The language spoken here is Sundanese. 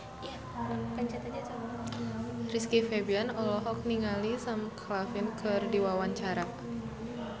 Rizky Febian olohok ningali Sam Claflin keur diwawancara